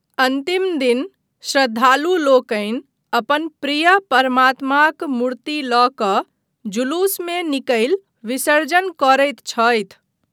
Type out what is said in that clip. अन्तिम दिन श्रद्धालुलोकनि अपन प्रिय परमात्माक मूर्ति लऽ कऽ जुलूसमे निकलि विसर्जन करैत छथि।